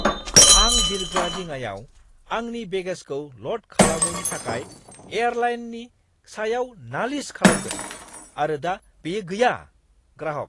आं बिरग्रा दिङायाव आंनि बेगेजखौ ल'ड खालामैनि थाखाय एयारलाइननि सायाव नालिस खालामगोन आरो दा बेयो गैया। (ग्राहक)